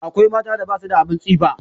Akwai mata da ba su da abin tsifa.